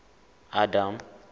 adam